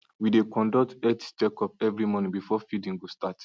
we dey conduct health check up every morning before feeding go start